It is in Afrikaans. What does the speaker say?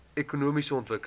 ekonomiese ontwikkeling